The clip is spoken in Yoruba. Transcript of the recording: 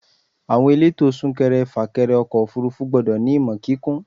Àwọn elétò súnkẹrẹ fà kẹrẹ ọkọ̀ òfúrúfú gbọ́dọ̀ ní ìmọ̀ kíkún.